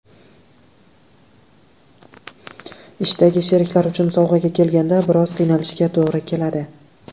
Ishdagi sheriklar uchun sovg‘aga kelganda, biroz qiynalishga to‘g‘ri keladi.